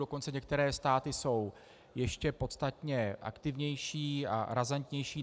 Dokonce některé státy jsou ještě podstatně aktivnější a razantnější.